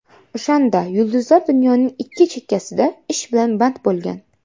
O‘shanda yulduzlar dunyoning ikki chekkasida ish bilan band bo‘lgan.